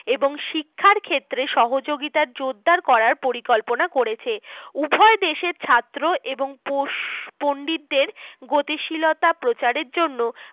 এবং শিক্ষার ক্ষেত্রে সহযোগিতা জোরদার করার পরিকল্পনা করেছে । উভয় দেশের ছাত্র এবং পণ্ডিতদের গতিশীলতা প্রচার এর জন্য